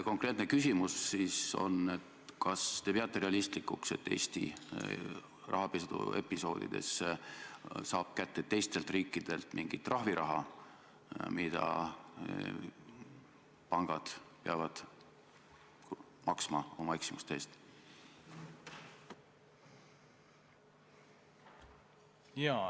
Konkreetne küsimus aga on: kas te peate realistlikuks, et Eesti saab rahapesuepisoodides teistel riikidelt kätte mingi trahviraha, mida pangad peavad maksma oma eksimuste eest?